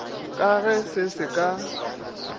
ka ge se se ka